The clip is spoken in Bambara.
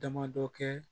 Damadɔ kɛ